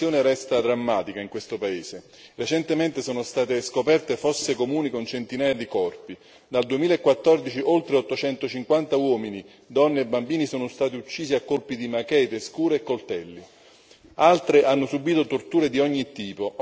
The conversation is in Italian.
La situazione resta drammatica in questo paese. Recentemente sono state scoperte fosse comuni con centinaia di corpi. Dal 2014 oltre 850 uomini, donne e bambini sono stati uccisi a colpi di machete, scuri e coltelli e altre hanno subito torture di ogni tipo.